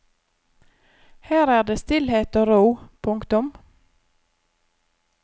Her er det stillhet og ro. punktum